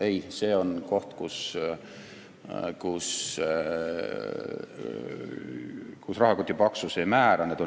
Ei, see on koht, kus rahakoti paksus ei määra.